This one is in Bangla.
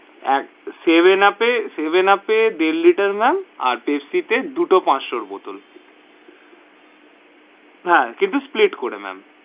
আহ সেভেন উপ এ সেভেন উপ এ দেড় liter ma'am আর পেপসি তে দুটো পাঁচশোর bottle হা কিন্তু split করে ma'am.